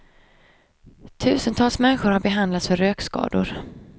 Tusentals människor har behandlats för rökskador.